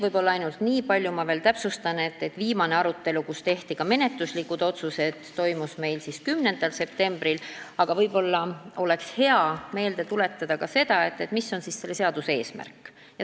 Võib-olla ainult nii palju ma veel täpsustan, et viimane arutelu, kus tehti ka menetluslikud otsused, toimus meil 10. septembril, aga võib-olla oleks hea meelde tuletada ka seda, mis on siis selle seaduse eesmärk.